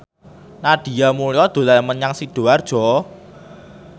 Nadia Mulya dolan menyang Sidoarjo